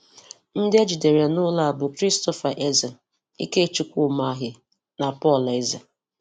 Ndị ejidere n'ụlọ a bụ Christopher Eze, Ikechukwu Umahi na Paul Eze.